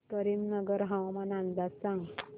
करीमनगर हवामान अंदाज सांग